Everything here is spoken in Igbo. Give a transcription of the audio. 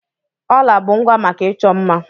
Jewelries are accessories for beautification.